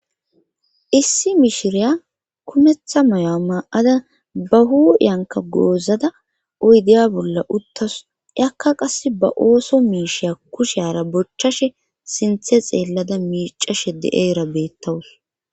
Issi mishiriya kumetha mayo'a maa'ada ba hu yanka goozada oydeya bolla uttasu akka qass ba ooso miisheya kusheara bochchashe sinthe xeellada miicashe de7era beettawus.